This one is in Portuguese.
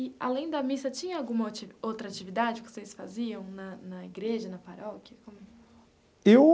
E além da missa, tinha alguma ati outra atividade que vocês faziam na na igreja, na paróquia?